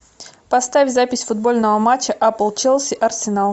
поставь запись футбольного матча апл челси арсенал